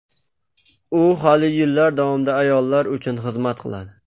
U hali yillar davomida ayollar uchun xizmat qiladi.